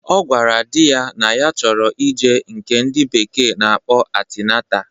Ọ gwara di ya na ya chọrọ ije nke ndị bekee na-akpọ antinata